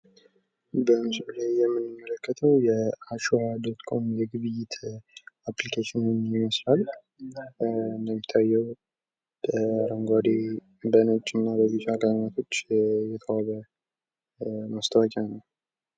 በምስሉ ላይ የምንመለከተው የአሸዋ የግብይት ይመስላል። እንደሚታየው አረንጓዴ ፣ በነጭ እና በቢጫ ቀለማቶች የተዋበ ማስተዋወቂያ ነው።